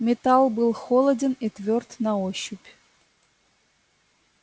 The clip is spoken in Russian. металл был холоден и твёрд на ощупь